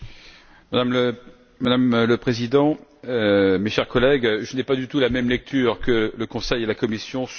Madame la Présidente, chers collègues, je n'ai pas du tout la même lecture que le Conseil et la Commission sur la criminalité.